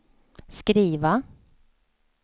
skriva